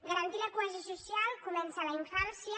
garantir la cohesió social comença a la infància